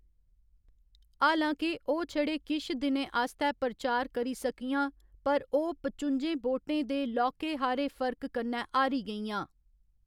हालां के ओह्‌‌ छड़े किश दिनें आस्तै प्रचार करी सकियां, पर ओह्‌‌ पचुंजें वोटें दे लौह्‌‌‌के हारे फर्क कन्नै हारी गेइयां।